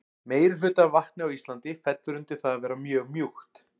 meirihluti af vatni á íslandi fellur undir það að vera mjög mjúkt